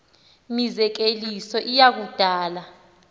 mizekeliso iya kudala